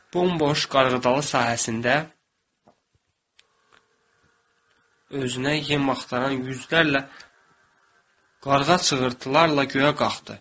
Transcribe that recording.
Bomboş qarğıdalı sahəsində özünə yem axtaran yüzlərlə qarğa çığırtılarla göyə qalxdı.